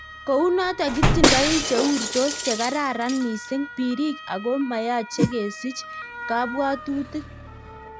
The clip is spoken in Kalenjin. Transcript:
kounotok kitindoi cheurtos chekararan missing, pirik ago mayache kesich kabwatutik.